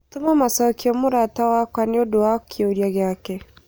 Tũma macokio mũrata wakwa nĩũndũ wa kĩũria gĩake